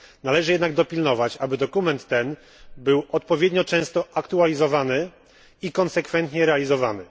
Należy jednak dopilnować, aby dokument ten był odpowiednio często aktualizowany i konsekwentnie realizowany.